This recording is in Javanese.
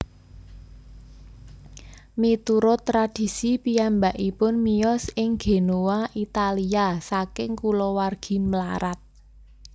Miturut tradhisi piyambakipun miyos ing Genoa Italia saking kulawargi mlarat